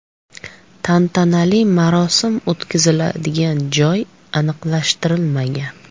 Tantanali marosim o‘tkaziladigan joy aniqlashtirilmagan.